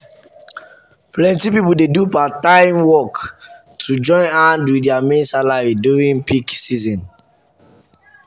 plenty people dey do part-time work to join hand with their main salary during peak season.